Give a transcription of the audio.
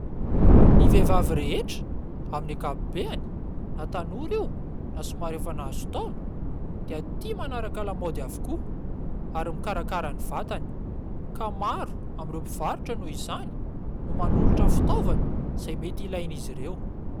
Ny vehivavy rehetra amin'ny ankapobeny na tanora io na somary efa nahazo taona dia tia manaraka lamaody avokoa, ary mikarakara ny vatany ; ka maro amin'ireo mivarotra noho izany no manolotra fitaovana izay mety ilain'izy ireo.